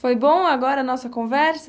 Foi bom agora a nossa conversa?